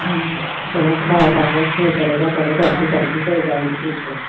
ਚਲੋ ਕੋਈ ਗੱਲ ਨੀ ਠੀਕ ਹੈ